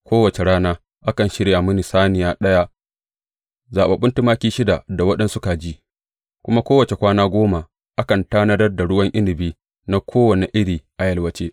Kowace rana akan shirya mini saniya ɗaya, zaɓaɓɓun tumaki shida da waɗansu kaji, kuma kowace kwana goma akan tanadar da ruwan inabi na kowane iri a yalwace.